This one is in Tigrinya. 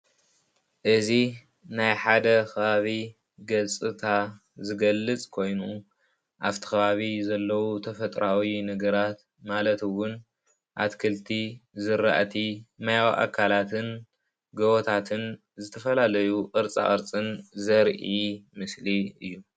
እዚ ናይ ሓደ ከባቢ ገፅታ ዝገልፅ ኾይኑ ኣብቲ ከባቢ ዘለው ተፈጥሮኣዊ ነገራት ማለት እውን ኣትክልቲ፣ ዝራእቲ ማያዊ ኣካላትን ጎቦታትን ዝተፈላለዩ ቅርፃቅርፅን ዘርኢ ምስሊ እዩ።